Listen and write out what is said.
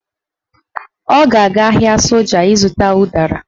Ọ ga-aga ahịa soja ịzụta ụdara